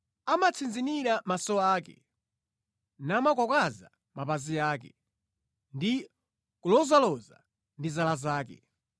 amatsinzinira maso ake, namakwakwaza mapazi ake ndi kulozaloza ndi zala zake,